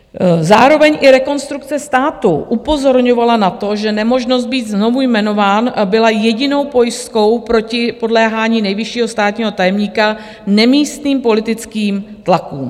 Zároveň i Rekonstrukce státu upozorňovala na to, že nemožnost být znovu jmenován byla jedinou pojistkou proti podléhání nejvyššího státního tajemníka nemístným politickým tlakům.